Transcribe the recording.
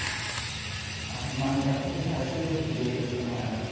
Ah o nome da rua era Júlio Ribeiro, que eu morava.